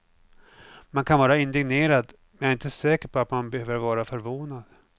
Man kan vara indignerad, men jag är inte säker på att man behöver vara förvånad.